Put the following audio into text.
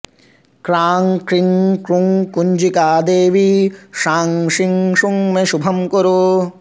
क्रां क्रीं क्रूं कुञ्जिका देवि शां शीं शूं मे शुभं कुरु